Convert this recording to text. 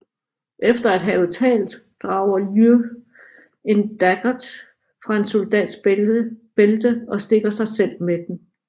Efter at have talt drager Liù en daggert fra en soldats bælte og stikker sig selv med den